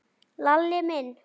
Lalli minn?